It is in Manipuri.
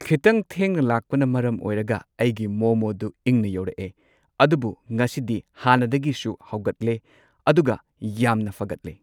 ꯈꯤꯠꯇꯪ ꯊꯦꯡꯅ ꯂꯥꯛꯄꯅ ꯃꯔꯝ ꯑꯣꯏꯔꯒ ꯑꯩꯒꯤ ꯃꯣꯃꯣꯗꯨ ꯏꯪꯅ ꯌꯧꯔꯛꯑꯦ ꯑꯗꯨꯕꯨ ꯉꯁꯤꯗꯤ ꯍꯥꯟꯅꯗꯒꯤꯁꯨ ꯍꯥꯎꯒꯠꯂꯦ ꯑꯗꯨꯒ ꯌꯥꯝꯅ ꯐꯒꯠꯂꯦ꯫